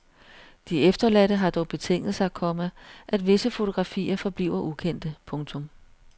De efterladte har dog betinget sig, komma at visse fotografier forbliver ukendte. punktum